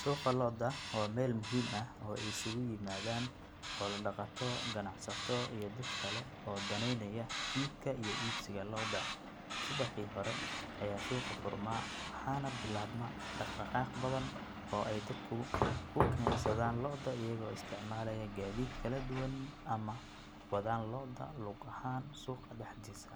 Suuqa lo'da waa meel muhiim ah oo ay isugu yimaadaan xoolo dhaqato, ganacsato iyo dad kale oo danaynaya iibka iyo iibsiga lo'da subaxii hore ayaa suuqu furmaa waxaana bilaabma dhaqdhaqaaq badan oo ay dadku ku keensadaan lo'da iyagoo isticmaalaya gaadiid kala duwan ama wadaan lo'da lug ahaan suuqa dhexdiisa